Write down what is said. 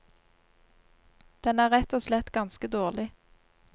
Den er rett og slett ganske dårlig.